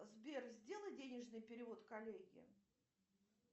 сбер сделай денежный перевод коллеге